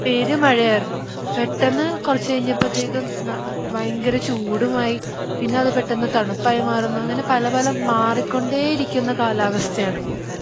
പെരുമഴയായിരുന്നു പെട്ടെന്ന് കുറച്ചു കഴിഞ്ഞപ്പത്തേക്കും ന ആ ഭയങ്കര ചൂടുമായി പിന്നെ അത് പെട്ടെന്ന് തണുപ്പായി മാറുന്നു അങ്ങനെ പല പല മാറിക്കൊണ്ടിരിക്കുന്ന കാലാവസ്ഥയാണ്.